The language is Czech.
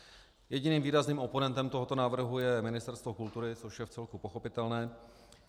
Jediným výrazným oponentem tohoto návrhu je Ministerstvo kultury, což je vcelku pochopitelné.